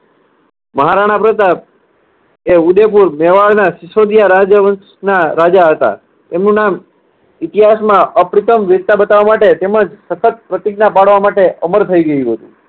મહારાણા પ્રતાપ એ ઉદયપુર, મેવાડના સીસોદીયા રાજ્યવંશના રાજા હતા. એમનું નામ ઇતિહાસમાં અપ્રથમ વીરતા બતાવવા માટે તેમજ સશક્ત પ્રતિજ્ઞા પાળવા માટે અમર થઇ ગયું હતું.